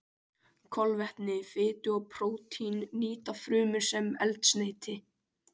Kolvetni, fitu og prótín nýta frumur sem eldsneyti.